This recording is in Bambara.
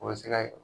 O bɛ se ka